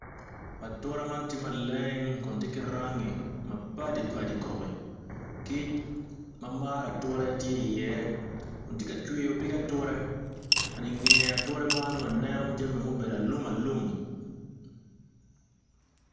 Ature man tye maleng kun tye ki rangi mapadi padi i kom kic ma maro ature tye iye kun tye ka cwiyo pig ature inge ature man waneno jami nubedo alumalum.